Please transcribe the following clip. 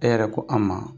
E yɛrɛ ko an ma